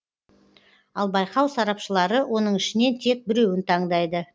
ал байқау сарапшылары оның ішінен тек біреуін таңдайды